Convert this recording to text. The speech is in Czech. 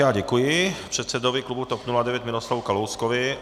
Já děkuji předsedovi klubu TOP 09 Miroslavu Kalouskovi.